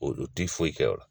Olu ti foyi kɛ o la